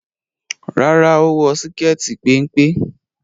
Rárá, ó wọ síkẹ́ẹ̀tì péńpé.